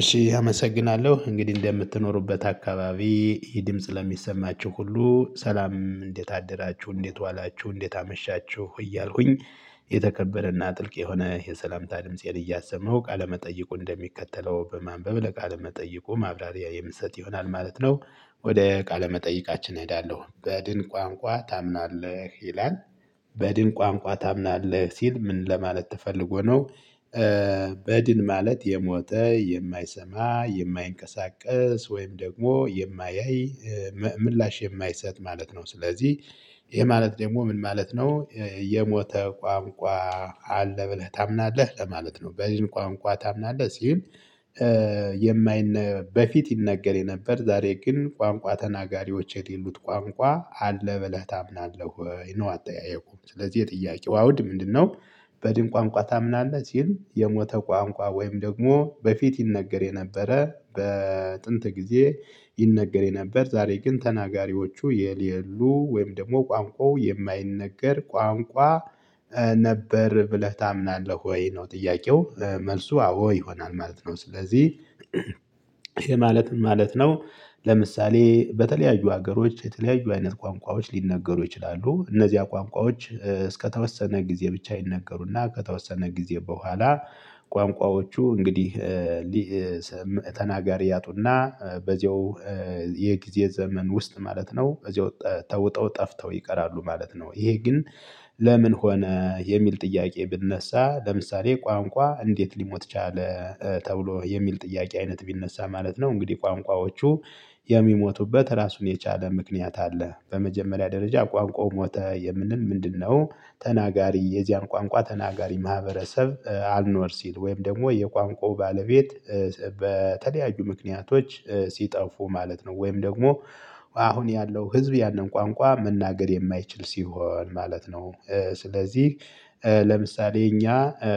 እሺ አመሰግናለሁ እንግዲህ እንደምትኖሩበት አካባቢ ይሄ ድምጽ ለሚሰማችሁ ሁሉ ሰላም እንዴት አደራችሁ እንዴት ዋላችሁ እንዴት አመሻችሁ እያልኩኝ የተከበረና ጥልቅ የሆነ የሰላምታ ድምፄን እያሰመው ቃለመጠይቁ እንደሚከተለው በማንበብ ለቃለመጠይቁ ማብራሪያ የምሰጥ ይሆናል ማለት ነው። ወደ ቃለ መጠይቃችን እሄዳለሁ በድን ቋንቋ ታምናለህ ይላል። በድን ቋንቋ ታምናለህ ሲል ምን ለማለት ተፈልጎ ነው? በድን ማለት የሞተ የማይሰማ የማይንቀሳቀስ ወይም ደግሞ የማያይ ምላሽ የማይሰጥ ማለት ነው። ስለዚህ ይሄ ማለት ደግሞ ምን ማለት ነው የሞተ ቋንቋ? አለ ብለህ ታምናለህ ለማለት ነው? በዚህ ቋንቋ ታምናለህ ሲል። የማይነ በፊት ይነገር የነበር ዛሬ ግን ቋንቋ ተናጋሪዎች የሌሉት ቋንቋ አለ ብለህ ታምናለህ ወይ ነው? አጠያየቁም ስለዚህ የጥያቄው አውድ ምንድነው? በድን ቋንቋ ታምናለህ ሲል የሞተ ቋንቋ ወይም ደግሞ በፊት ይነገር የነበረ በጥንት ጊዜ ይነገር የነበር ዛሬ ግን ተናጋሪዎቹ የሌሉ ወይም ደግሞ ቋንቋው የማይነገር ቋንቋ ነበር ብለህ ታምናለህ ወይ ነው? ጥያቄው መልሱ አዎ ይሆናል ማለት ነው። ስለዚህ ይሄ ማለት ምን ማለት ነው? ለምሳሌ በተለያዩ ሀገሮች የተለያዩ አይነት ቋንቋዎች ሊነገሩ ይችላሉ እነዚያ ቋንቋዎች እስከተወሰነ ጊዜ ብቻ ይነገሩና ከተወሰነ ጊዜ በኋላ ቋንቋዎቹ እንግዲህ። ተናጋሪ ያጡና በዚሁ የጊዜ ዘመን ውስጥ ማለት ነው በዚሁ ተውጠው ጠፍተው ይቀራሉ ማለት ነው። ይሄ ግን ለምን ሆነ የሚል ጥያቄ ቢነሳ ለምሳሌ ቋንቋ እንዴት ሊሞት ቻለ ተብሎ የሚል ጥያቄ አይነት ቢነሳ ማለት ነው። እንግዲህ ቋንቋዎቹ የሚሞቱበት ራሱን የቻለ ምክንያት አለ በመጀመሪያ ደረጃ ቋንቋው ሞተ የምንል ምንድነው? ተናጋሪ የዚያን ቋንቋ ተናጋሪ ማህበረሰብ አልኖር ሲል ወይም ደግሞ የቋንቋው ባለቤት በተለያዩ ምክንያቶች ሲጠፉ ማለት ነው። ወይም ደግሞ አሁን ያለው ህዝብ ያንን ቋንቋ መናገር የማይችል ሲሆን ማለት ነው። ስለዚህ ለምሳሌ እኛ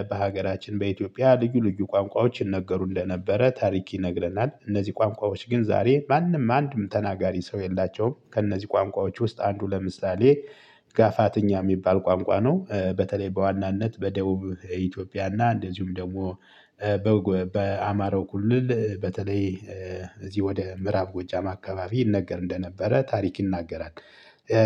በሀገራችን በኢትዮጵያ ልዩ ልዩ ቋንቋዎችን ይነገሩ እንደ ነበረ ታሪክ ይነግረናል እነዚህ ቋንቋዎች ግን ዛሬ ማንም አንድም ተናጋሪ ሰው የላቸውም። ከእነዚህ ቋንቋዎች ውስጥ አንዱ ለምሳሌ ጋፋትኛ የሚባል ቋንቋ ነው። በተለይ በዋናነት በደቡብ ኢትዮጵያና እንደዚሁም ደግሞ በአማረው ኩልል በተለይ እዚህ ወደ ምዕራብ ጎጃማ አካባቢ ይነገር እንደነበረ ታሪክ ይናገራል።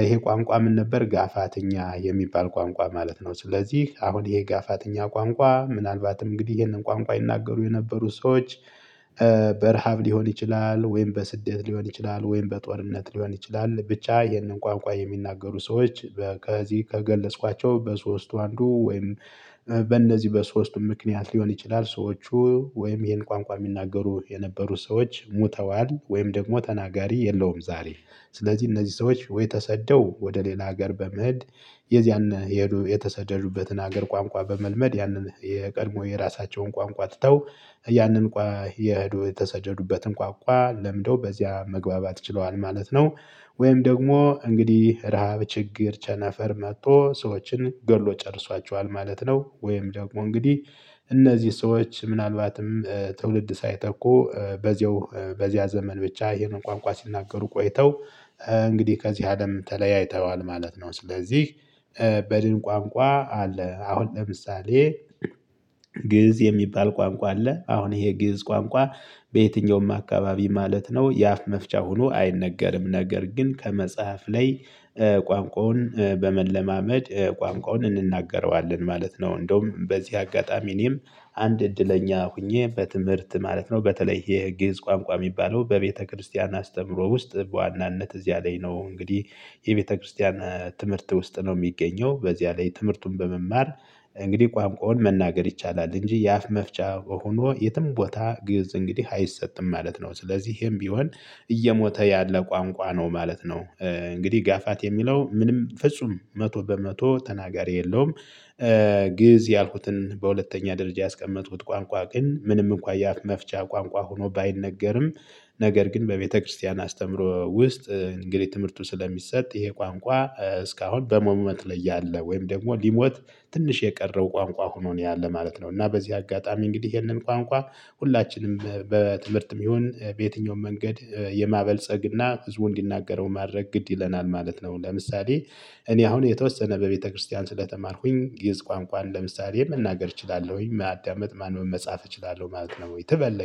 ይሄ ቋንቋ ምን ነበር ጋፋትኛ የሚባል ቋንቋ ማለት ነው። ስለዚህ አሁን የጋፋትኛ ቋንቋ ምናልባትም እንግዲህ ይህን ቋንቋ ይናገሩ የነበሩ ሰዎች። በረሃብ ሊሆን ይችላል ወይም በስደት ሊሆን ይችላል ወይም በጦርነት ሊሆን ይችላል ብቻ ይህንን ቋንቋ የሚናገሩ ሰዎች ከዚህ ከገለጽኳቸው በሶስቱ አንዱ ወይም በእነዚህ በሶስቱ ምክንያት ሊሆን ይችላል ሰዎቹ ወይም ይሄን ቋንቋ የሚናገሩ የነበሩት ሰዎች ሞተዋል ወይም ደግሞ ተናጋሪ የለውም ዛሬ። ስለዚህ እነዚህ ሰዎች ወይ ተሰደው ወደ ሌላ ሀገር በመሄድ የዚያን የሄዱ የተሰደዱበትን ሀገር ቋንቋ በመልመድ ያንን የቀድሞ የራሳቸውን ቋንቋ ትተው ያንን ቋህ የሄዱ የተሰጀዱበትን ቋንቋ ለምደው በዚያ መግባባት ችለዋል ማለት ነው። ወይም ደግሞ እንግዲህ ረሃብ ችግር ቸነፈር መጥቶ ሰዎችን ገሎ ጨርሷቸዋል ማለት ነው። ወይም ደግሞ እንግዲህ እነዚህ ሰዎች ምናልባትም ትውልድ ሳይተኩ በዚያው በዚያ ዘመን ብቻ ይህን ቋንቋ ሲናገሩ ቆይተው እንግዲህ ከዚህ አለም ተለያይተዋል ማለት ነው። ስለዚህ በድን ቋንቋ አለ አሁን ለምሳሌ ግእዝ የሚባል ቋንቋ አለ አሁን ይሄ ግእዝ ቋንቋ። በየትኛውም አካባቢ ማለት ነው የአፍ መፍቻ ሆኖ አይነገርም ነገር ግን ከመጽሐፍ ላይ። ቋንቋውን በመለማመድ ቋንቋውን እንናገረዋለን ማለት ነው። እንደውም በዚህ አጋጣሚ እኔም አንድ እድለኛ ሆኜ በትምህርት ማለት ነው በተለይ የግዕዝ ቋንቋ የሚባለው በቤተክርስቲያን አስተምሮ ውስጥ በዋናነት እዚያ ላይ ነው። እንግዲህ የቤተክርስቲያን ትምህርት ውስጥ ነው የሚገኘው በዚያ ላይ ትምህርቱን በመማር እንግዲህ ቋንቋውን መናገር ይቻላል እንጂ የአፍ መፍቻ ሆኖ የትም ቦታ ግእዝ እንግዲህ አይሰጥም ማለት ነው። ስለዚህ ይሄም ቢሆን እየሞተ ያለ ቋንቋ ነው ማለት ነው። እንግዲህ ጋፋት የሚለው ምንም ፍጹም መቶ በመቶ ተናጋሪ የለውም። ግእዝ ያልኩትን በሁለተኛ ደረጃ ያስቀመጥኩት ቋንቋ ግን ምንም እንኳን የአፍ መፍቻ ቋንቋ ሆኖ ባይነገርም። ነገር ግን በቤተክርስቲያን አስተምሮ ውስጥ እንግዲህ ትምህርቱ ስለሚሰጥ ይሄ ቋንቋ እስካሁን በሞሞት ላይ ያለ ወይም ደግሞ ሊሞት ትንሽ የቀረው ቋንቋ ሆኖ ነው ያለ ማለት ነው። እና በዚህ አጋጣሚ እንግዲህ ይሄንን ቋንቋ ሁላችንም በትምህርትም ይሁን በየትኛውም መንገድ የማበልፀግ እና ብዙ እንዲናገረው ማድረግ ግድ ይለናል ማለት ነው። ለምሳሌ እኔ አሁን የተወሰነ በቤተክርስቲያን ስለተማርኩኝ ግእዝ ቋንቋን ለምሳሌ መናገር እችላለሁኝ ማዳመጥ ማንበብ መጻፍ እችላለሁ ማለት ነው። ወይ ተበለኝ